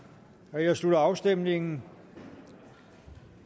jeg slutter afstemningen